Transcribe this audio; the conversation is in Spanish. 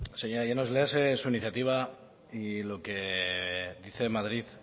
ez ez lasai bi minutu señora llanos léase su iniciativa y lo que dice en madrid